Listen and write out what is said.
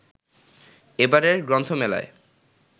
এবারের গ্রন্থমেলায়